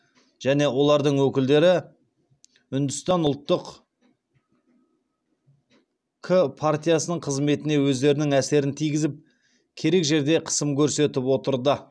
және олардың өкілдері үндістан ұлттық к партиясының қызметіне өздерінің әсерін тигізіп керек жерде қысым көрсетіп отырды